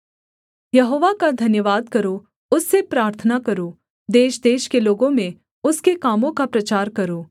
यहोवा का धन्यवाद करो उससे प्रार्थना करो देशदेश के लोगों में उसके कामों का प्रचार करो